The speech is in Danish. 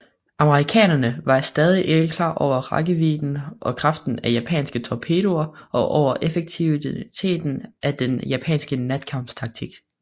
Amerikanerne var stadig ikke klar over rækkevidden og kraften af japanske torpedoer og over effektiviteten af den japanske natkampstaktik